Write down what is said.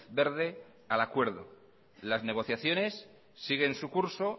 verde al acuerdo las negociaciones siguen su curso